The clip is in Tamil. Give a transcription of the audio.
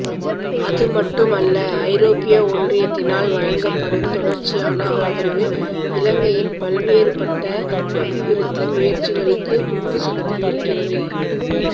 அதுமட்டும் அல்ல ஐரோப்பிய ஒன்றியத்தினால் வழங்கப்படும் தொடர்ச்சியான ஆதரவு இலங்கையின் பல்வேறுபட்ட அபிவிருத்தி முயற்சிகளுக்கு உந்துசக்தி இருக்கின்றது